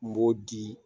N b'o di